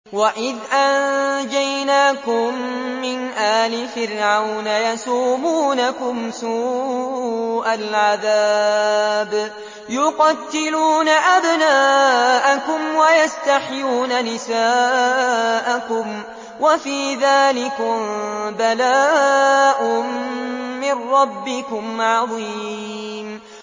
وَإِذْ أَنجَيْنَاكُم مِّنْ آلِ فِرْعَوْنَ يَسُومُونَكُمْ سُوءَ الْعَذَابِ ۖ يُقَتِّلُونَ أَبْنَاءَكُمْ وَيَسْتَحْيُونَ نِسَاءَكُمْ ۚ وَفِي ذَٰلِكُم بَلَاءٌ مِّن رَّبِّكُمْ عَظِيمٌ